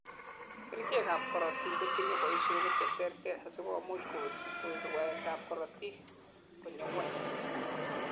kerichek ab korotik kotinyei boishonik cheterter asikomuch kowek rwaet ab korotik konyor ngweny